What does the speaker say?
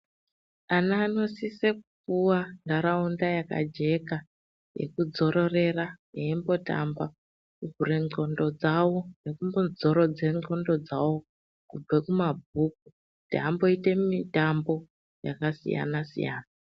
Ana anosise kupuwa ntaraunda yakajeka yekudzororera eyimbotamba kuvhure ndxondo dzawo nekumbodzoredze ndxondo dzawo kubve kumabhuku kuti amboite mitambo yakasiyana siyana.